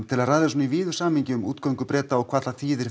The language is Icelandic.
til að ræða svona í víðu samhengi um útgöngu Breta og hvað hún þýðir